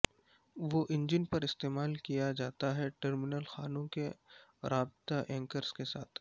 وہ انجن پر استعمال کیا جاتا ہے ٹرمینل خانوں کی رابطہ اینکرز کے ساتھ